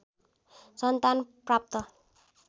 सन्तान प्राप्त